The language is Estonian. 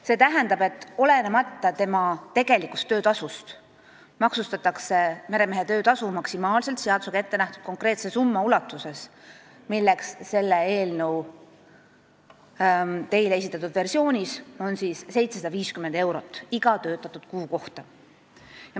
See tähendab, et olenemata tegelikust töötasust maksustatakse meremehe töötasu maksimaalselt seadusega ette nähtud konkreetse summa ulatuses, milleks on selle eelnõu teile esitatud versioonis 750 eurot iga töötatud kuu kohta.